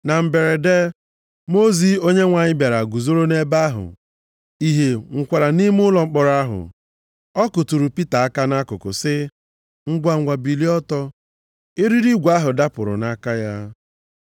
Na mberede mmụọ ozi Onyenwe anyị bịara guzoro nʼebe ahụ, ìhè nwukwara nʼime ụlọ mkpọrọ ahụ. Ọ kutụrụ Pita aka nʼakụkụ sị, “Ngwangwa, bilie ọtọ!” Eriri igwe ahụ dapụrụ nʼaka ya.